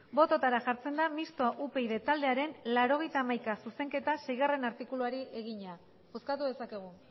botoetara jartzen da mistoa upyd taldearen laurogeita hamaika zuzenketa seigarrena artikuluari egina bozkatu dezakegu